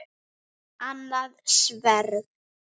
Annað sverð.